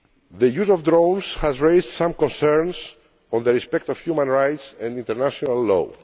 The use of drones has raised some concerns on respect for human rights and international law.